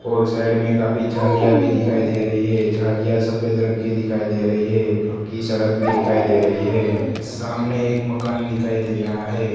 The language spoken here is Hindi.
और साइड मैं काफी झालियां भी दिखाई दे रही हैं झालिया सफेद रंग कि दिखाई दे रही हैं पक्की सड़क भी दिखाई दे रही हैं सामने एक मकान दिखाई दे रहा हैं।